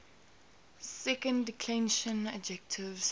second declension adjectives